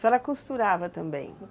A senhora costurava também?